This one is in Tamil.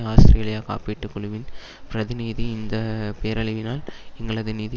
ஆஸ்திரேலிய காப்பீட்டு குழுவின் பிரதிநீதி இந்த பேரழிவினால் எங்களது நிதி